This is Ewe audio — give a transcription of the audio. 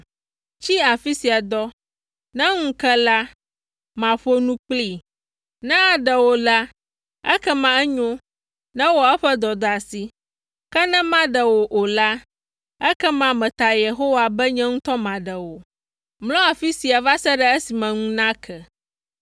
Tsi afi sia dɔ. Ne ŋu ke la, maƒo nu kplii. Ne aɖe wò la, ekema enyo; newɔ eƒe dɔdeasi. Ke ne maɖe wò o la, ekema meta Yehowa be nye ŋutɔ maɖe wò. Mlɔ afi sia va se ɖe esime ŋu nake.”